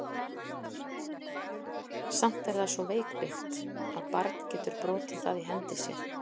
Samt er það svo veikbyggt, að barn getur brotið það í hendi sér.